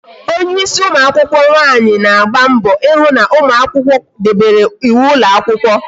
Onye ịsị ụmụakwụkwọ nwaanyi na-agba mbọ ịhụ na ụmụakwụkwọ debere ịwụ ụlọ akwụkwọ